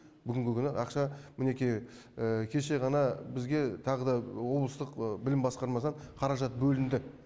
бүгінгі күні ақша мінекей кеше ғана бізге тағы да облыстық білім басқармасынан қаражат бөлінді